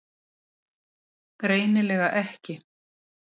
Greinilega ekki.